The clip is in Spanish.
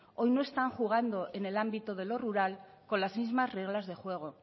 hoy no están jugando en el ámbito de lo rural con las mismas reglas de juego